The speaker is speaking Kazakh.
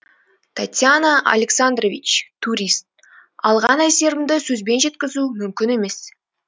татьяна александрович турист алған әсерімді сөзбен жеткізу мүмкін емес